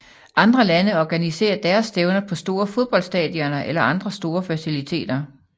Andre lande organiserer deres stævner på store fodboldstadioner eller andre store faciliteter